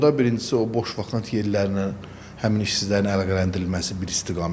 Burda birincisi o boş vakant yerlə həmin işsizlərin əlaqələndirilməsi bir istiqamətdir.